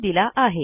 यांनी दिलेला आहे